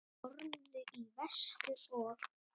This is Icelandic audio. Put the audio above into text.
Horfðu í vestur og.